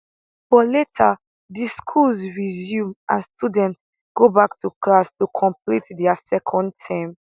but later di schools resume and students go back to class to complete dia second term